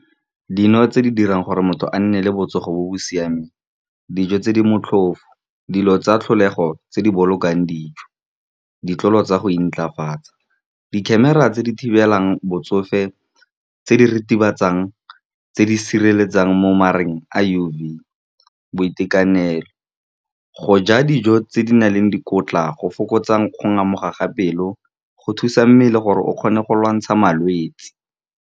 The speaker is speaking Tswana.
Dino tse di dirang gore motho a nne le botsogo jo bo siameng, dijo tse di motlhofo, dilo tsa tlholego tse di bolokang dijo, ditlolo tsa go intlafatsa, di-camera tse di thibelang botsofe, tse di ritibatsang, tse di sireletsang mo a U_V. Boitekanelo, go ja dijo tse di nang le dikotla, go fokotsa go ngamoga ga pelo, go thusa mmele gore o kgone go lwantsha malwetse.